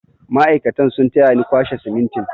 Mai'aikatan sun taya ni kwashe simintin.